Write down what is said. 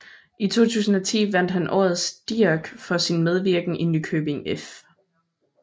I 2010 vandt han Årets Dirch for sin medvirken i Nykøbing F